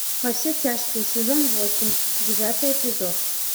во все тяжкие сезон восемь девятый эпизод